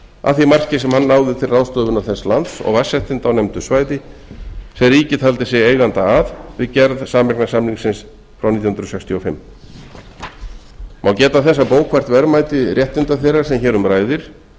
að því marki sem hann náði til ráðstöfunar þess lands og vatnsréttindum á nefndu svæði sem ríkið taldi sig eiganda að við gerð sameignarsamningsins frá nítján hundruð sextíu og fimm má geta þess að bókfært verðmæti réttinda þeirra sem hér um ræðir